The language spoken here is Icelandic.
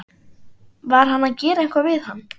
Var hann að gera eitthvað við hann?